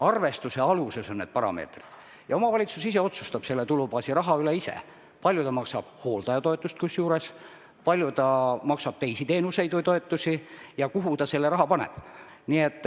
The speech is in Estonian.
Arvestuse aluseks on need parameetrid ja omavalitsus ise otsustab selle tulubaasi raha üle: kui palju ta maksab hooldajatoetust, kui palju ta maksab teiste teenuste eest või teisi toetusi, kuhu ta selle raha paneb.